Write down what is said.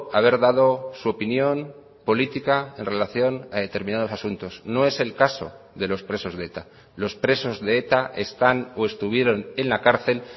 haber dado su opinión política en relación a determinados asuntos no es el caso de los presos de eta los presos de eta están o estuvieron en la cárcel